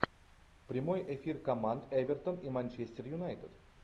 прямой эфир команд эвертон и манчестер юнайтед